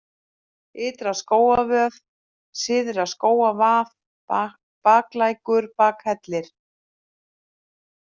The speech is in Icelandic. Ytra-Skógarvöð, Syðra-Skógarvað, Baklækur, Bakhellir